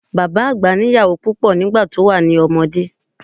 Bàbá àgbà ní ìyàwó púpọ̀ nígbà tó wà lọ́mọdé.